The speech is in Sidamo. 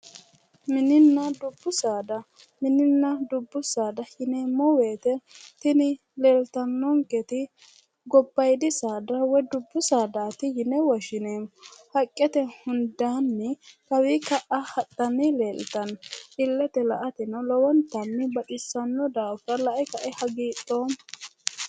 Mininna dubbu saada, mininna dubbu saada yineemmo woyte tini leeltannonketi gobbaadi saada woy dubbu saadati yine woshshineemmo, haqqete hundaanni kawii ka"a hadhanni leeltanno, illetenni la"ateno lowontanni baxissanno.